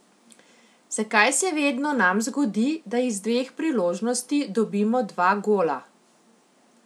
Zakaj se vedno nam zgodi, da iz dveh priložnosti dobimo dva gola?